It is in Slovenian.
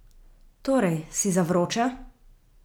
Torej, si za vroče?